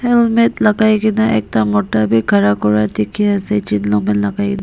helmet lakai kae na ekta mota bi khara kura dikhiase jean long pant lak--